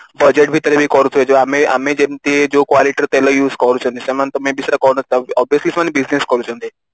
ଆଁ budget ଭିତରେ ବି କରୁଥିବେ ଆମେ ଆମେ ଯେମିତି ଯୋଉ quality ର ତେଲ use କରୁଛନ୍ତି ସେମାନେ may be ସେମାନେ କରୁ ନଥିବେ obviously ସେମାନେ business କରୁଛନ୍ତି